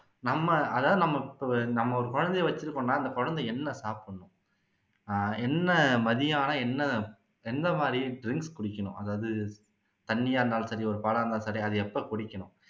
நம்ம அதாவது நமக்கு நம்ம ஒரு குழந்தையை வச்சுருக்கோம்னா அந்த குழந்தை என்ன சாப்பிடணும் ஆஹ் என்ன மதியம் ஆனா என்னா எந்த மாதிரி drinks குடிக்கணும் அதாவது தண்ணியா இருந்தாலும் சரி ஒரு பாலா இருந்தாலும் சரி அதை எப்போ குடிக்கணும்